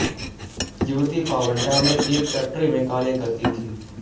युवती पावंटा में एक फैक्टरी में कार्य करती थी